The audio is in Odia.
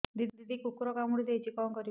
ଦିଦି କୁକୁର କାମୁଡି ଦେଇଛି କଣ କରିବି